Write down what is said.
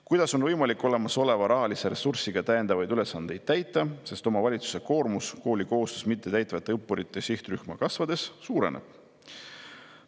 Kuidas on võimalik olemasoleva rahalise ressursiga täiendavaid ülesandeid täita, sest omavalitsuste koormus kohustust mittetäitvate õppurite sihtrühma kasvades suureneb?